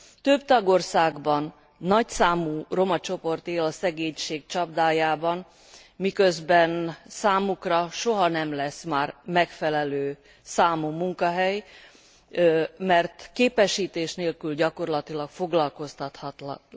Több tagországban nagyszámú romacsoport él a szegénység csapdájában, miközben számukra soha nem lesz már megfelelő számú munkahely, mert képesítés nélkül gyakorlatilag foglalkoztathatatlanok.